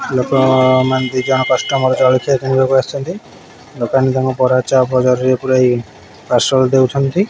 ଲୋକ ଅ ମାନେ ଦିଜଣ କଷ୍ଟମର୍ ଜଳଖିଆ କିଣିବାକୁ ଆସିଛନ୍ତି ଦୋକାନୀ ତାଙ୍କୁ ବରା ଚପ୍ ଜରିରେ ପୁରାଇ ପାର୍ଶଲ୍ ଦେଉଛନ୍ତି।